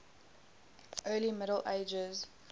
early middle ages